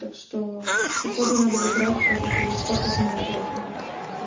так что походу надо выбирать всё-таки из оперного и окна